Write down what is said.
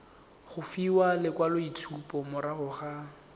go fiwa lekwaloitshupo morago ga